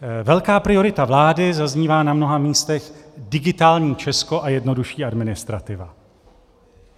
Velká priorita vlády zaznívá na mnoha místech - Digitální Česko a jednodušší administrativa.